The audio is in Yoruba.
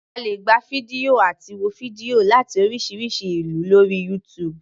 A lè gba fídíò àti wo fídíò láti oríṣiríṣi ìlú lórí YouTube.